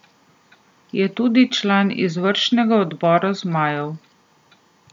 Je tudi član izvršnega odbora zmajev.